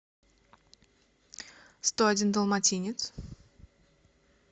сто один далматинец